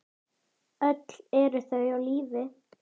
Öll eru þau á lífi.